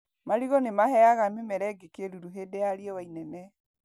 Marigũ nĩ maheaga mĩmera ĩngĩ kĩruru hĩndĩ ya rĩũa inene.